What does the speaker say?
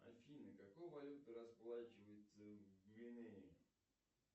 афина какой валютой расплачиваются в гвинее